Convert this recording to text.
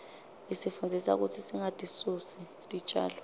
isifundzisa kutsi singatisusi titjalo